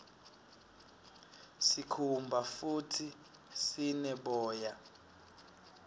sikhumba futdi sine boya